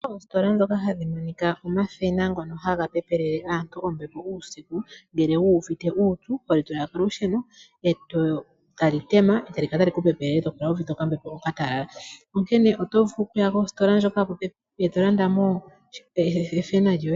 Oositola ndhoka hadhi minika omashina ngono haga pepele aantu ombepo uusiku ngele wu uvite uupyu. Oholi tula kolusheno eta li tema. Eta li kala tali ku pepele eto kala wuuvite oka mm mbepo oka talala. Oto vulu oku ya koositola yopo pepi eto landa mo eshina lyoye.